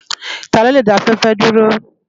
Tá ló lé dá áfèfè dúró?